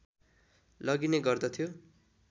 लगिने गर्दथ्यो